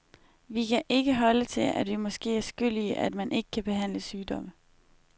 Vi kan ikke holde til, at vi måske er skyld i, at man ikke kan behandle sygdomme.